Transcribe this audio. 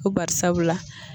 Ko barisabula